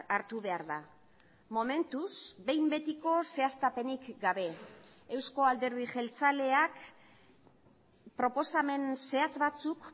hartu behar da momentuz behin betiko zehaztapenik gabe euzko alderdi jeltzaleak proposamen zehatz batzuk